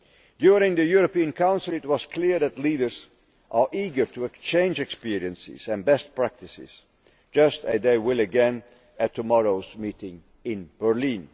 During the European Council it was clear that leaders are eager to exchange experiences and best practices, just as they will again at tomorrow's meeting in Berlin.